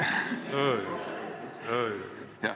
Ei, ei-ei-ei!